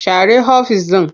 Share ofis ɗin.